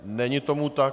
Není tomu tak.